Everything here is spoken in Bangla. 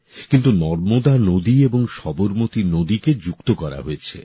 কিন্তু নর্মদা নদী এবং সবরমতী নদীকে যুক্ত করা হয়েছে